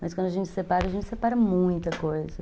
Mas quando a gente se separa, a gente separa muita coisa.